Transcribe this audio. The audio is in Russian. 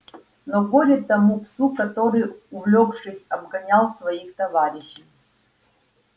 но горе тому псу который увлёкшись обгонял своих товарищей